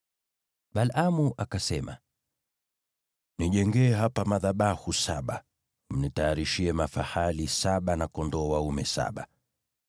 Balaamu akasema, “Nijengee hapa madhabahu saba, mnitayarishie mafahali saba na kondoo dume saba.”